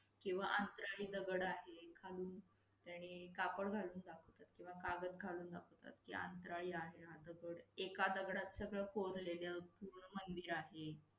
किंवा अंतराळी दगड आहे, खालून त्यांनी कापड घालून दाखवतात किंवा कागद घालून दाखवतात कि, अंतराळी आहे हा दगड. एका दगडात सगळ कोरलेले अस पूर्ण मंदिर आहे.